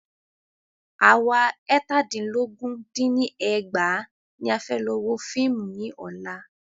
À wa eètàdínlógún dín ní ẹgbàá ní a fẹ́ lọ wo fíìmù ní ọ̀la.